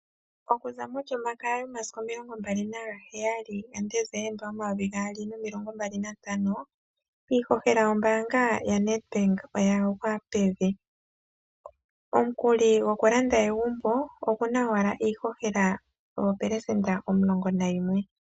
Okuza molyomakaya yomasiku 27 Desemba 2025 iihohela yombaanga yaNEDBANK oyagwa pevi, omukuli gokulanda egumbo oguna owala iihohela 11%.